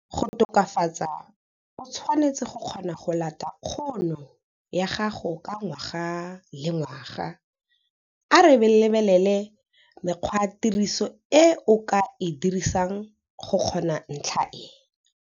Go tokafatsa o tshwanetse go kgona go lata kgono ya gago ka ngwaga le ngwaga. A re lebelele mekgwatiriso e o ka e dirisang go kgona ntlha e.